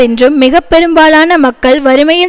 என்றும் மிக பெரும்பாலான மக்கள் வறுமையில்